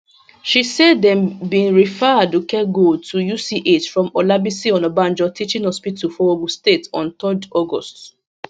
she say dem bin refer aduke gold to uch from olabisi onabanjo teaching hospital for ogun state on 3 august